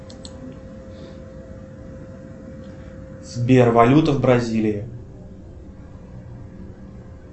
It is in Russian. сбер валюта в бразилии